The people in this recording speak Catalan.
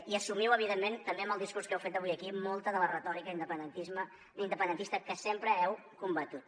i assumiu evidentment també amb el discurs que heu fet avui aquí molta de la retòrica independentista que sempre heu combatut